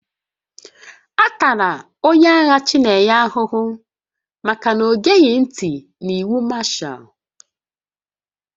A tara onye agha Chinenye ahụhụ maka na o geghị ntị n'iwu Mashaal